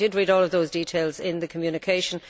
I did read all of those details in the communication.